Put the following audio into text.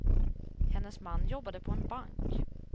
Hennes man jobbade på en bank.